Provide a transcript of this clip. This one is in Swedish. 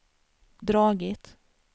dragit